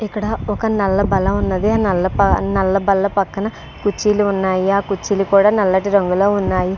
ఇక్కడ ఒక నల్ల బల్ల వున్నది ఆ నల్ల బల్ల పక్కన కుర్చీలు వున్నాయ్ ఆ కుర్చీ లు కూడా నలగానే వున్నాయి.